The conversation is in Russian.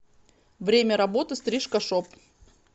время работы стрижка шоп